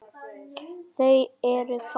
Þau eru fá.